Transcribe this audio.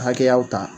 Hakɛyaw ta